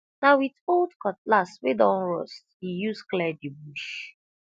na with old cutlass wey don rust he use clear the bush